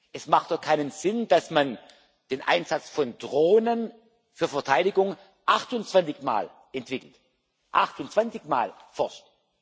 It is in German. Es macht doch keinen Sinn, dass man den Einsatz von Drohnen für Verteidigung 28 Mal entwickelt, 28 Mal forscht.